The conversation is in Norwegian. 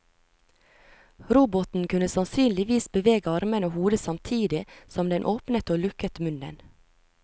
Roboten kunne sannsynligvis bevege armene og hodet samtidig som den åpnet og lukket munnen.